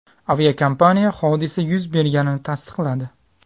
Aviakompaniya hodisa yuz berganini tasdiqladi.